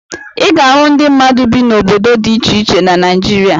Ị ga-ahụ ndị mmadụ bi n'obodo dị iche iche na Naịjirịa.